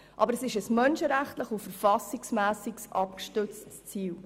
Aber es ist ein menschenrechtlich und verfassungsmässig abgestütztes Ziel.